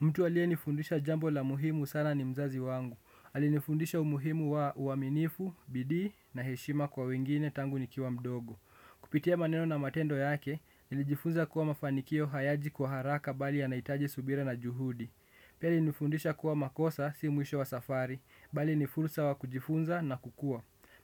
Mtu aliyenifundisha jambo la muhimu sana ni mzazi wangu. Alinifundisha umuhimu wa uaminifu, bidii na heshima kwa wengine tangu nikiwa mdogo. Kupitie maneno na matendo yake, nilijifunza kuwa mafanikio hayaji kwa haraka bali yanahitaji subira na juhudi. Pia alinifundisha kuwa makosa si mwisho wa safari, bali nifursa wa kujifunza na kukua.